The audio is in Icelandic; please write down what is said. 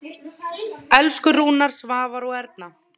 Elsku Rúna, Svavar og Erna.